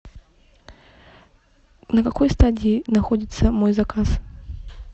на какой стадии находится мой заказ